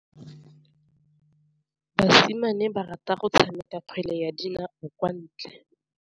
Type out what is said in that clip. Basimane ba rata go tshameka kgwele ya dinaô kwa ntle.